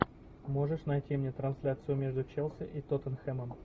можешь найти мне трансляцию между челси и тоттенхэмом